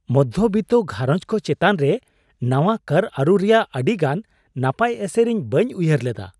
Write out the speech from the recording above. ᱢᱚᱫᱫᱷᱚ ᱵᱤᱛᱛᱚ ᱜᱷᱟᱨᱚᱸᱡᱽ ᱠᱚ ᱪᱮᱛᱟᱱ ᱨᱮ ᱱᱟᱶᱟ ᱠᱚᱨ ᱟᱹᱨᱩ ᱨᱮᱭᱟᱜ ᱟᱹᱰᱤ ᱜᱟᱱ ᱱᱟᱯᱟᱭ ᱮᱥᱮᱨ ᱤᱧ ᱵᱟᱹᱧ ᱩᱭᱦᱟᱹᱨ ᱞᱮᱫᱟ ᱾